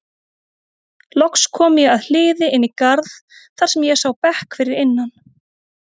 Loks kom ég að hliði inn í garð þar sem ég sá bekk fyrir innan.